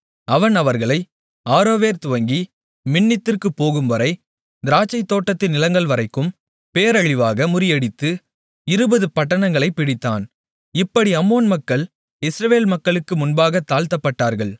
அவன் அவர்களை ஆரோவேர் துவக்கி மின்னித்திற்குப் போகும்வரை திராட்சைத் தோட்டத்து நிலங்கள்வரைக்கும் பேரழிவாக முறியடித்து இருபது பட்டணங்களைப் பிடித்தான் இப்படி அம்மோன் மக்கள் இஸ்ரவேல் மக்களுக்கு முன்பாகத் தாழ்த்தப்பட்டார்கள்